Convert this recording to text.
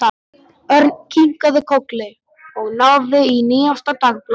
Örn kinkaði kolli og náði í nýjasta dagblaðið.